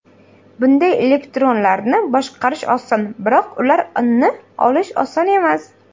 Bunday elektronlarni boshqarish oson, biroq ularni olish oson emas.